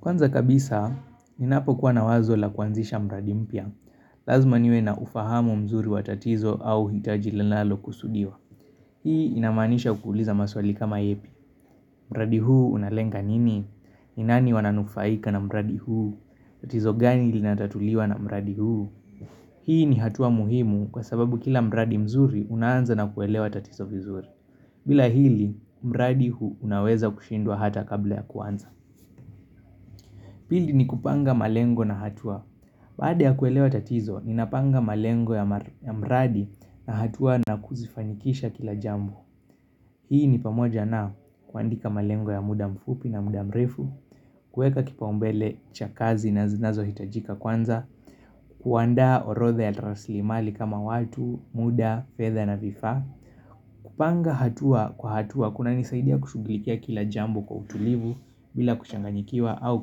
Kwanza kabisa, ninapokuwa na wazo la kuanzisha mradi mpya, lazima niwe na ufahamu mzuri wa tatizo au hitaji linalokusudiwa. Hii inamaanisha kuuliza maswali kama yepi, mradi huu unalenga nini, ni nani wananufaika na mradi huu, tatizo gani linatatuliwa na mradi huu. Hii ni hatua muhimu kwa sababu kila mradi mzuri unaanza na kuelewa tatizo vizuri. Bila hili, mradi unaweza kushindwa hata kabla ya kuanza. Pili ni kupanga malengo na hatua Baada ya kuelewa tatizo, ninapanga malengo ya mradi na hatua na kuzifanyikisha kila jambo Hii ni pamoja na kuandika malengo ya muda mfupi na muda mrefu kueka kipaumbele cha kazi na zinazohitajika kwanza kuandaa orodha ya rasilimali kama watu, muda, fedha na vifaa kupanga hatua kwa hatua kunanisaidia kushughulikia kila jambo kwa utulivu bila kuchanganyikiwa au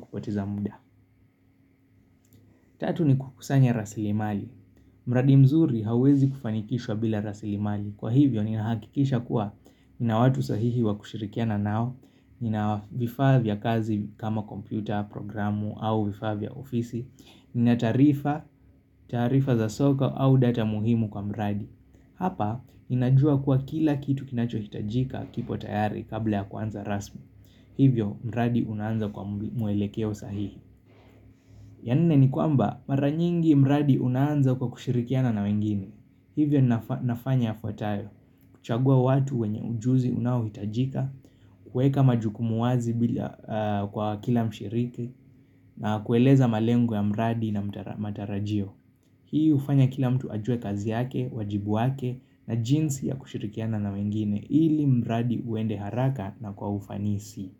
kupoteza muda Tatu ni kukusanya rasilimali. Mradi mzuri hauwezi kufanikishwa bila rasilimali. Kwa hivyo, ninahakikisha kuwa nina watu sahihi wa kushirikiana nao, nina vifaa vya kazi kama kompyuta, programu, au vifaa vya ofisi, nina taarifa za soka au data muhimu kwa mradi. Hapa, ninajua kuwa kila kitu kinachohitajika kipo tayari kabla ya kuanza rasmi. Hivyo, mradi unaanza kwa mwelekeo sahihi. Ya nne ni kwamba mara nyingi mradi unaanza kwa kushirikiana na wengine Hivyo nafanya yafuatayo kuchagua watu wenye ujuzi unaohitajika kueka majukumu wazi kwa kila mshiriki na kueleza malengo ya mradi na matarajio Hii hufanya kila mtu ajue kazi yake, wajibu wake na jinsi ya kushirikiana na wengine ili mradi uende haraka na kwa ufanisi.